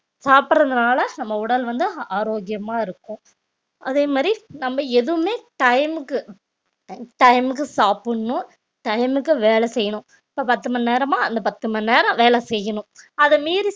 சாப்பிடறதுனால நம்ம உடல் வந்து ஆரோக்கியமா இருக்கும் அதே மாதிரி நம்ம எதுவுமே time க்கு time time க்கு சாப்பிடணும் time க்கு வேலை செய்யணும் இப்ப பத்து மணி நேரமா அந்த பத்து மணி நேரம் வேலை செய்யணும் அத மீறி